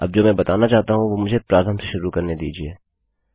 अब जो मैं बताना चाहता हूँ वो मुझे प्रारंभ से शुरू करने दीजिये